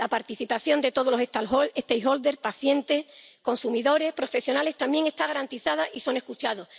La participación de todas las partes interesadas —pacientes, consumidores, profesionales— también está garantizada y son escuchadas.